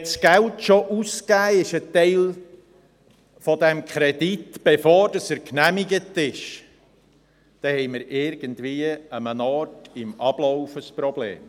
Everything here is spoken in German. – Wenn das Geld, ein Teil des Kredits, schon ausgegeben ist, bevor er genehmigt ist, haben wir irgendwie an einem Ort beim Ablauf ein Problem.